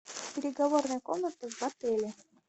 переговорная комната в отеле